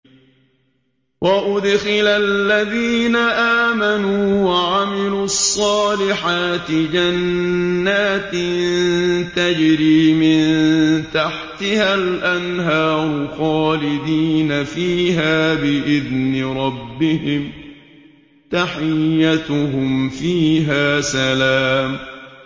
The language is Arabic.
وَأُدْخِلَ الَّذِينَ آمَنُوا وَعَمِلُوا الصَّالِحَاتِ جَنَّاتٍ تَجْرِي مِن تَحْتِهَا الْأَنْهَارُ خَالِدِينَ فِيهَا بِإِذْنِ رَبِّهِمْ ۖ تَحِيَّتُهُمْ فِيهَا سَلَامٌ